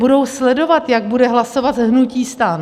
Budou sledovat, jak bude hlasovat hnutí STAN.